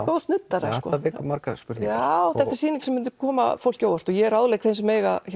góðs nuddara sko þetta margar spurningar já þetta er sýning sem myndi koma fólki á óvart og ég ráðlegg þeim sem eiga